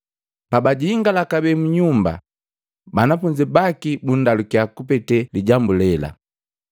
Pabajingala kabee munyumba, banafunzi baki bundalukya kupete lijambu lela.